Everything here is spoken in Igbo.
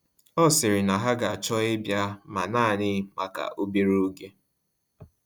Ọ sịrị na ha ga-achọ ịbịa, ma naanị maka obere oge.